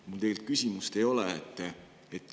Mul tegelikult küsimust ei ole.